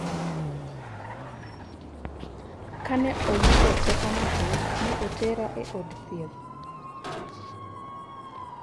Kane oyudo teko matin, ne otera e od thieth."